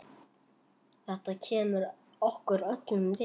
Þetta kemur okkur öllum við.